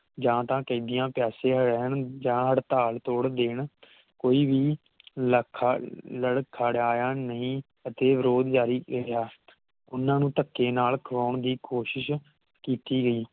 ਜਾ ਤਾ ਕੈਦੀਆਂ ਪਿਆਸੇ ਰਹਿਣ ਜਾ ਤਾ ਹੜਤਾਲ ਤੋੜ ਦੇਣ ਕੋਈ ਵੀ ਲੱਖਾਂ ਲੜਖੜਾਇਆ ਨਹੀਂ ਤੇ ਵਿਰੋਧ ਜਾਰੀ ਰਿਯਾ ਉਨ੍ਹਣਾ ਨੂੰ ਥਕੇ ਨਾਲ ਖੁਆਉਂਦਾ ਦੀ ਕੋਸ਼ਿਸ਼ ਕੀਤੀ ਗਯੀ